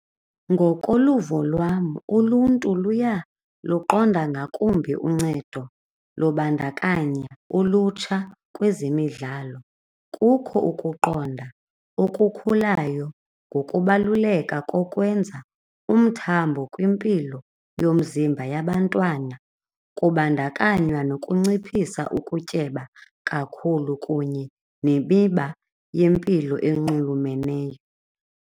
Ngokoluvo lwam uluntu luyaluqonda ngakumbi uncedo lobandakanya ulutsha kwezemidlalo kukho ukuqonda okukhulayo ngokubaluleka kokwenza umthambo kwimpilo yomzimba yabantwana kubandakanywa nokunciphisa ukutyeba kakhulu kunye nemiba yempilo enxulumeneyo.